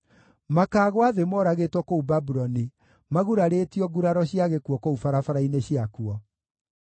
Makaagũa thĩ moragĩtwo kũu Babuloni, magurarĩtio nguraro cia gĩkuũ kũu barabara-inĩ ciakuo.